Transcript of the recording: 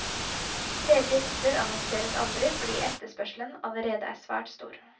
Ledige hytter annonseres aldri fordi etterspørselen allerede er svært stor.